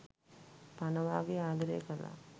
පණ වාගේ ආදරය කළා.